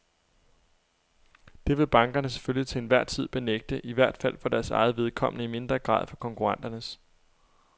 Det vil bankerne selvfølgelig til enhver tid benægte, i hvert fald for deres eget vedkommende, i mindre grad for konkurrenternes.